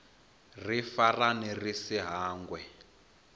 ri farane ri si hangwe